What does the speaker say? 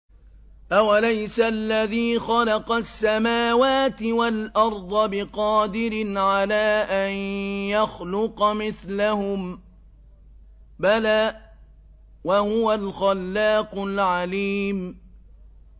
أَوَلَيْسَ الَّذِي خَلَقَ السَّمَاوَاتِ وَالْأَرْضَ بِقَادِرٍ عَلَىٰ أَن يَخْلُقَ مِثْلَهُم ۚ بَلَىٰ وَهُوَ الْخَلَّاقُ الْعَلِيمُ